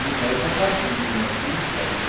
Mil réis acabou em mil novecentos e